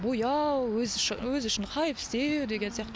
бояу өзі үшін хайп істеу деген сияқты